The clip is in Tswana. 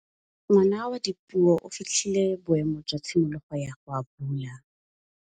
Ngwana wa Dipuo o fitlhile boêmô jwa tshimologô ya go abula.